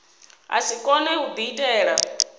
a si kone u diitela